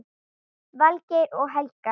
Valgeir og Helga.